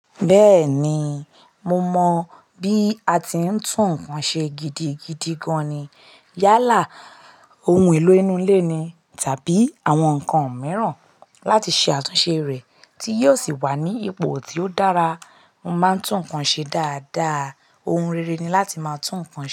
Bẹ́ẹ̀ni, mo mọ bí a ti ń tún nǹkan ṣe gidigidi gan-an ni. Yálà ohun èlò ínú ilé ni tàbí àwọn nǹkan mìíràn láti ṣe àtúnṣe rẹ̀ tí yóò sì wà ní ipò tí ó dára. Mo máa ń tún nǹkan ṣe dáadáa. Ohun rere ni láti máa tún nǹkan ṣe.